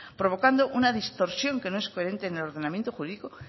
provocando una distorsión que no es coherente en el ordenamiento jurídico